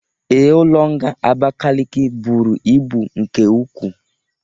Ee, ụlọ nga Abakiliki bụrụ ịbụ nke ụkwụ